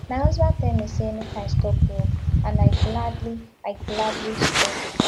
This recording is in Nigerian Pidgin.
my husband tell me say make i stop work and i gladly i gladly stop